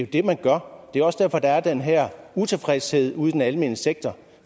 det man gør det er også derfor der er den her utilfredshed ude i den almene sektor